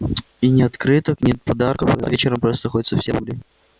и ни открыток ни подарков а вечером просто хоть совсем умри